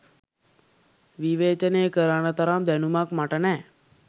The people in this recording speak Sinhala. විවේචනය කරන්න තරම් දැනුමක් මට නෑ